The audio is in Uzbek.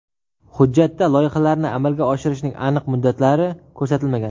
Hujjatda loyihalarni amalga oshirishning aniq muddatlari ko‘rsatilmagan.